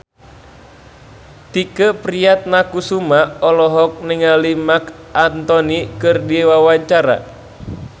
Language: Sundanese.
Tike Priatnakusuma olohok ningali Marc Anthony keur diwawancara